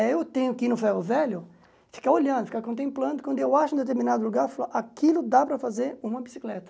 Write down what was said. É, eu tenho que ir no ferro velho, ficar olhando, ficar contemplando, quando eu acho um determinado lugar, eu falo aquilo dá para fazer uma bicicleta.